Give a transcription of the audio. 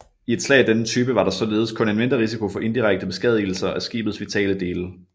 I et slag af denne type var der således kun en mindre risiko for indirekte beskadigelser af skibets vitale dele